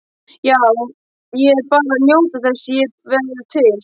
Æ, ég var bara að njóta þess að vera til.